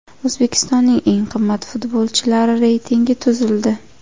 O‘zbekistonning eng qimmat futbolchilari reytingi tuzildi.